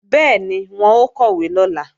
Bẹ́ẹ̀ni, wọn ó kọ̀wé lọ́la